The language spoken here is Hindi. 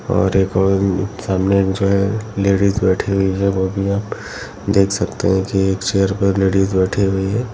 और एक और भी सामने जो है लेडीज बैठी हुई है वो भी आप देख सकतें हैं की एक चेयर पर लेडीज बैठी हुई है।